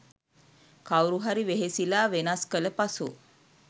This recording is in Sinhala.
කවුරුහරි වෙහෙසිලා වෙනස් කළ පසු